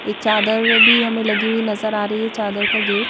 एक चादर भी हमें लगी हुई नजर आ रही है चादर का गेट --